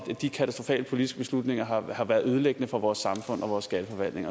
de katastrofale politiske beslutninger har har været ødelæggende for vores samfund og vores skatteforvaltning